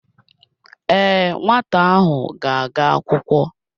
Ee, nwata ahụ ga-aga akwụkwọ.